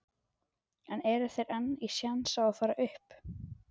En eru þeir enn í séns á að fara upp?